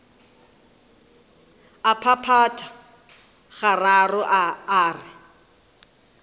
a phaphatha gararo a re